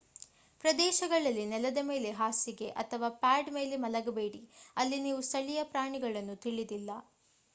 ಪ್ರದೇಶಗಳಲ್ಲಿ ನೆಲದ ಮೇಲೆ ಹಾಸಿಗೆ ಅಥವಾ ಪ್ಯಾಡ್ ಮೇಲೆ ಮಲಗಬೇಡಿ ಅಲ್ಲಿ ನೀವು ಸ್ಥಳೀಯ ಪ್ರಾಣಿಗಳನ್ನು ತಿಳಿದಿಲ್ಲ